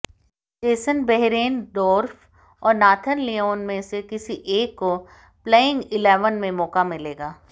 Jason Behrendorff और Nathan Lyon में से किसी एक को प्लेइंग इलेवन में मौका मिलेगा